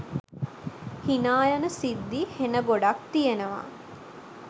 හිනා යන සිද්දි හෙන ගොඩක් තියෙනවා